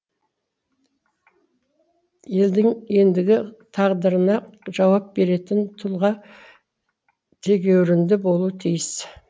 елдің ендігі тағдырына жауап беретін тұлға тегеурінді болуы тиіс